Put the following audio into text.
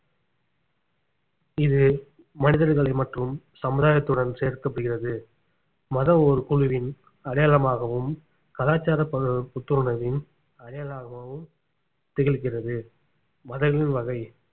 இது மனிதர்களை மற்றும் சமுதாயத்துடன் சேர்க்கப்படுகிறது மதம் ஓர் குழுவின் அடையாளமாகவும் கலாச்சாரம் ப~ புத்துணர்வின் அடையாளமாகவும் திகழ்கிறது மதங்களின் வகை